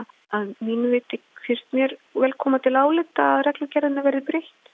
að mínu viti finnst mér vel koma til álita að reglugerðinni verði breytt